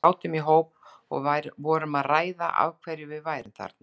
Við sátum í hóp og vorum að ræða af hverju við værum þarna.